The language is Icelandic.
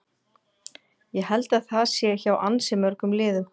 Ég held að það sé hjá ansi mörgum liðum.